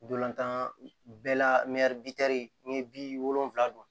Dolantan bɛɛ la n'i ye bi wolonwulan